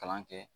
Kalan kɛ